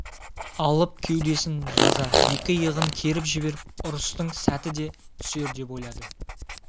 алып кеудесін жаза екі иығын керіп жіберіп ұрыстың сәті де түсер деп ойлады